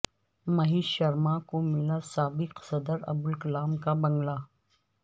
مہیش شرما کو ملا سابق صدر عبدالکلام کا بنگلہ